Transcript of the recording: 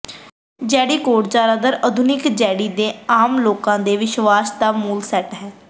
ਜੇਡੀ code ਜ਼ਿਆਦਾਤਰ ਆਧੁਨਿਕ Jedi ਦੇ ਆਮ ਲੋਕਾਂ ਦੇ ਵਿਸ਼ਵਾਸਾਂ ਦਾ ਮੂਲ ਸੈੱਟ ਹੈ